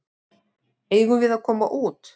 Eigum við að koma út?